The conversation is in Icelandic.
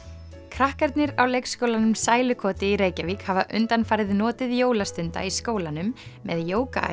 krakkarnir á leikskólanum sælukoti í Reykjavík hafa undanfarið notið jólastunda í skólanum með